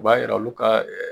U b'a yira olu ka